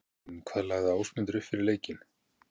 En hvað lagði Ásmundur upp með fyrir leikinn?